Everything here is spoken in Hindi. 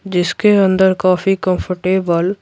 जिसके अंदर काफी कंफर्टेबल --